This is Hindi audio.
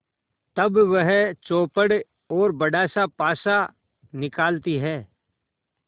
तब वह चौपड़ और बड़ासा पासा निकालती है